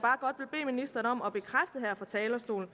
fra talerstolen og